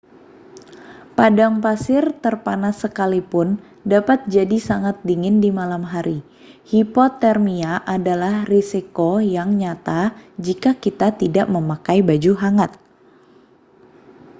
padang pasir terpanas sekalipun dapat jadi sangat dingin di malam hari hipotermia adalah risiko yang nyata jika kita tidak memakai baju hangat